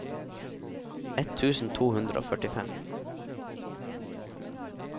ett tusen to hundre og førtifem